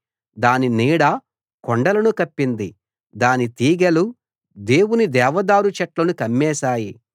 దాని నీడ కొండలను కప్పింది దాని తీగెలు దేవుని దేవదారు చెట్లను కమ్మేశాయి